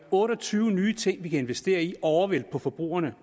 otte og tyve nye ting vi kan investere i over på forbrugerne